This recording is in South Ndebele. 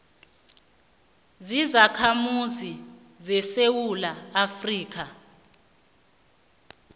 zizakhamuzi zesewula afrika